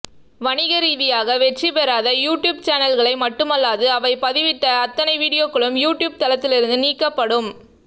வணிக ரீதியாக வெற்றி பெறாத யூட்யூப் சேனல்களை மட்டுமல்லாது அவை பதிவிட்ட அத்தனை வீடியோக்களும் யூட்யூப் தளத்திலிருந்து நீக்கப்படும்